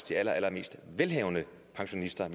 de allerallermest velhavende pensionister